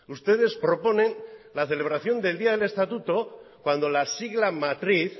ustedes proponen la celebración del día del estatuto cuando la sigla matriz